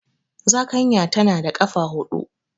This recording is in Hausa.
Zakanya tana da ƙafa huɗu.